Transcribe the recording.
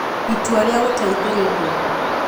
Itua rĩa Gũteithĩrĩria